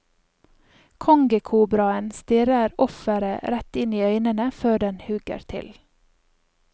Kongekobraen stirrer offeret rett inn i øynene før den hugger til.